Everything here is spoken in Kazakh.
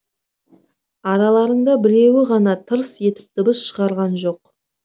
араларында біреуі ғана тырс етіп дыбыс шығарған жоқ